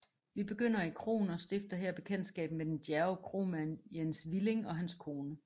Vi begynder i kroen og stifter her bekendtskab med den djærve kromand Jens Willing og hans kone